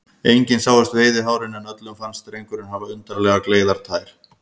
Engin sáust veiðihárin, en öllum fannst drengurinn hafa undarlega gleiðar tær.